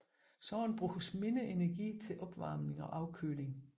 Således bruges mindre energi til opvarmning og afkøling